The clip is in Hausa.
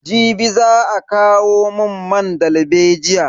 Jibi za a kawo mun man dalbejiya.